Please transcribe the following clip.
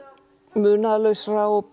munaðarlausra og